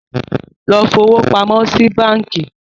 Lọ fowópamọ́ sí báńkí.